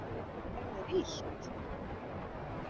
Er þér illt?